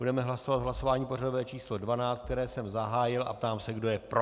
Budeme hlasovat v hlasování pořadové číslo 12, které jsem zahájil, a ptám se, kdo je pro.